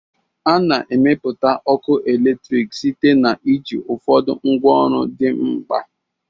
A na-emepụta ọkụ eletrik site na iji ụfọdụ ngwaọrụ dị mkpa